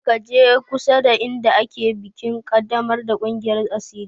Kada ka je kusada inda ake bikin ƙaddamar da ƙungiyar asiri!